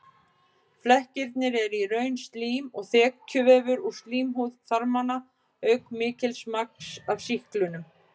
Flekkirnir eru í raun slím og þekjuvefur úr slímhúð þarmanna auk mikils magns af sýklinum.